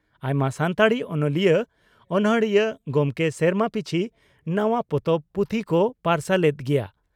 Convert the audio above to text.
ᱟᱭᱢᱟ ᱥᱟᱱᱛᱟᱲᱤ ᱚᱱᱚᱞᱤᱭᱟᱹ/ᱚᱱᱚᱲᱦᱤᱭᱟᱹ ᱜᱚᱢᱠᱮ ᱥᱮᱨᱢᱟ ᱯᱤᱪᱷ ᱱᱟᱣᱟ ᱯᱚᱛᱚᱵ/ᱯᱩᱛᱷᱤ ᱠᱚ ᱯᱟᱨᱥᱟᱞ ᱮᱫ ᱜᱮᱭᱟ ᱾